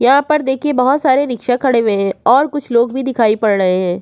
यहाँ पर देखिये बहुत सारे रिक्शा खड़े हुये हैं और कुछ लोग भी दिखाई पड़ रहे हैं।